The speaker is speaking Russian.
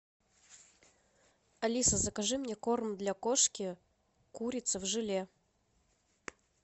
алиса закажи мне корм для кошки курица в желе